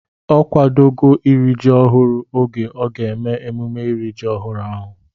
Ọ kwadogo iri ji ọhụrụ oge a ga-eme emume iri ji ọhụrụ ahụ